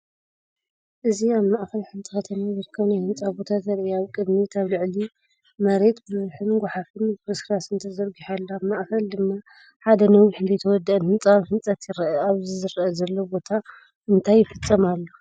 እዚ ኣብ ማእከል ሓንቲ ከተማ ዝርከብ ናይ ህንጻ ቦታ ዘርኢ እዩ። ኣብ ቅድሚት ኣብ ልዕሊ መሬት ብዙሕ ጎሓፍን ፍርስራስን ተዘርጊሑ ኣሎ። ኣብ ማእኸል ድማ ሓደ ነዊሕን ዘይተወደአን ህንፃ ኣብ ህንፀት ይርአ። ኣብዚ ዝርአ ዘሎ ቦታ እንታይ ይፍጸም ኣሎ?